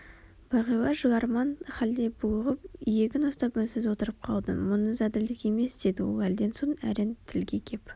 бағила жыларман халде булығып иегін ұстап үнсіз отырып қалды мұныңыз әділдік емес деді ол әлден соң әрең тілге кеп